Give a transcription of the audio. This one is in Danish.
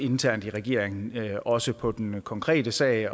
internt i regeringen også på den konkrete sag